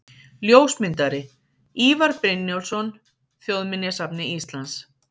Ljósmyndari: Ívar Brynjólfsson, Þjóðminjasafni Íslands.